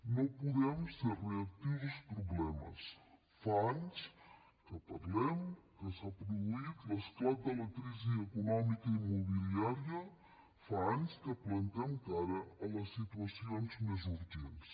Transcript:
no podem ser reactius als problemes fa anys que parlem que s’ha produït l’esclat de la crisi econòmica immobiliària fa anys que plantem cara a les situacions més urgents